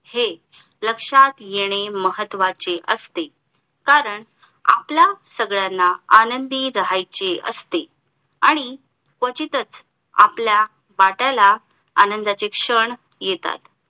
हे लक्षात येणे महत्वाचे असते कारण आपल्या सगळ्यांना आनंदी राहायचे असते आणि क्वचितच आपल्या वाटेला आनंदाचे क्षण येतात